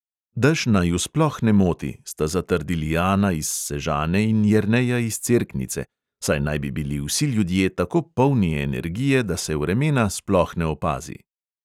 Dež naju sploh ne moti, sta zatrdili ana iz sežane in jerneja iz cerknice, saj naj bi bili vsi ljudje tako polni energije, da se vremena sploh ne opazi.